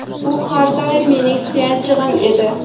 U har doim mening suyanchig‘im edi.